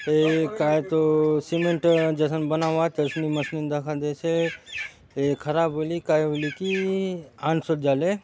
ये काहे तो सीमेंट जैसन बनावत है उसमे मशीन दखन दे से है ये खराब होईली काहे होइली की खान सुख जाले --